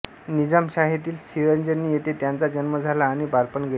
निजामशाहीतील सिरंजनी येथे त्यांचा जन्म झाला आणि बालपण गेले